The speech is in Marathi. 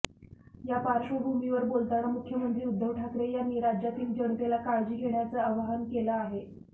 या पार्श्वभूमीवर बोलताना मुख्यमंत्री उद्धव ठाकरे यांनी राज्यातील जनतेला काळजी घेण्याचं आवाहन केलं आहे